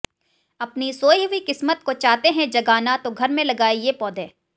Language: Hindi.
अपनी सोई हुई किस्मत को चाहते है जगाना तो घर में लगाएं ये पौधे